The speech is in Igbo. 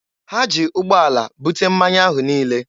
Ha ji ụgbọala bute mmanya ahụ niile.